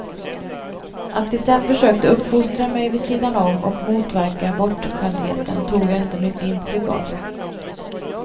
Att de sen försökte uppfostra mig vid sidan om och motverka bortskämdheten, tog jag inte mycket intryck av.